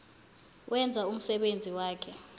wenza umsebenzi wakhe